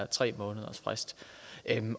tre månedersfrist